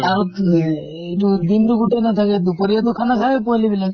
আৰু এইটো দিন টো গোটেই নাথাকে, দুপৰিয়াতো খানা খায় পোৱালী বিলাক।